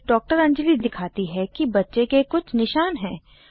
फिर डॉ अंजली दिखाती है कि बच्चे के कुछ निशान हैं